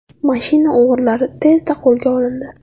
Mashina o‘g‘rilari tezda qo‘lga olindi.